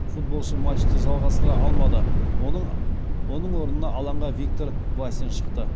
футболшы матчты жалғастыра алмады оның орнына алаңға виктор васин шықты